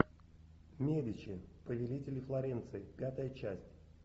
медичи повелители флоренции пятая часть